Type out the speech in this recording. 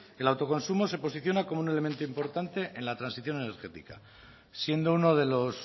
el autoconsumo se posiciona como un elemento importante en la transición energética siendo uno de los